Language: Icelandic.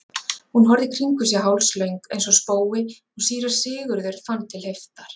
Hún horfði í kringum sig hálslöng eins og spói og síra Sigurður fann til heiftar.